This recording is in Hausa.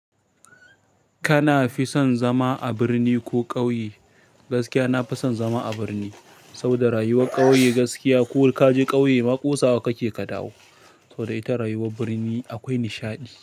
Kana fi son zama a birni ko ƙauye? Gaskiya nafi son zama a barni, saboda rayuwar ƙauye gaskiya ko kaje ƙauye ma ƙosawa kake ka dawo. Saboda ita rayuwar birni akwai nishaɗi.